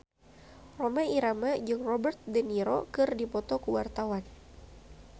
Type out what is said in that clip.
Rhoma Irama jeung Robert de Niro keur dipoto ku wartawan